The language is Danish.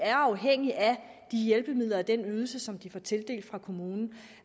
er afhængige af de hjælpemidler og den ydelse som de får tildelt af kommunen